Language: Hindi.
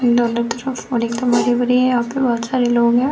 दोनों तरफ यहाँ पे बहोत सारे लोग हैं।